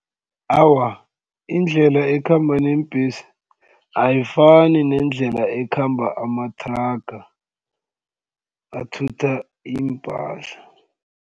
Awa, indlela ekhamba neembhesi ayifani nendlela ekhamba amathraga athutha iimpahla.